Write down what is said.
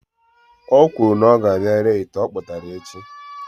Ọ kwuru na ọ ga-abia ree ite ọkpụtara echi